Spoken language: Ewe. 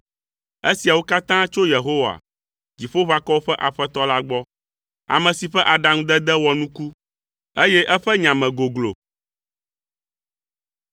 Esiawo katã tso Yehowa, Dziƒoʋakɔwo ƒe Aƒetɔ la gbɔ; ame si ƒe aɖaŋudede wɔ nuku, eye eƒe nya me goglo.